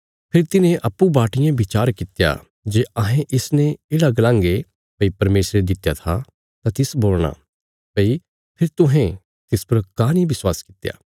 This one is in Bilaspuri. फेरी तिन्हें अप्पूँ बाटियें बिचार कित्या जे अहें इसने येढ़ा गलांगे भई परमेशरे दित्या था तां तिस बोलणा भई फेरी तुहें तिस पर काँह नीं विश्वास कित्या